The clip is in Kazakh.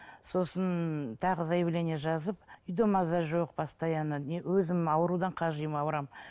сосын тағы заяление жазып үйде маза жоқ постоянно не өзім аурудан қажимын ауырамын